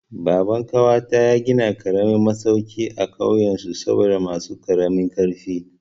Baban ƙawata ya gina karamin masauki a kauyen su saboda masu karamin ƙarfi.